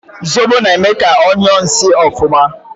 Zobo na eme ka onyuo nsi ofuma